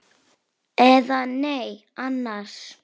Eða nei annars.